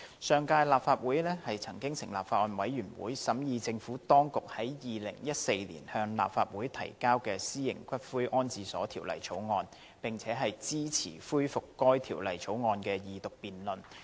上屆立法會曾成立法案委員會，審議政府當局於2014年向立法會提交的《私營骨灰安置所條例草案》，並且支持恢復該條例草案的二讀辯論。